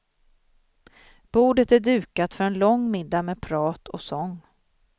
Bordet är dukat för en lång middag med prat och sång.